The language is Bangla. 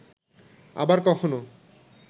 আবার কখনো